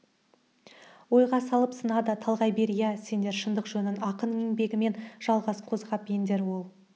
ойға салып сына да талғай бер иә сендер шындық жөнін ақын еңбегімен жалғас қозғап ендер ол